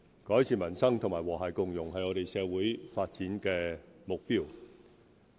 改善民生與和諧共融是我們社會發展的目標。